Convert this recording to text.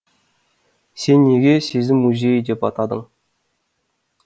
сен неге сезім музейі деп атадың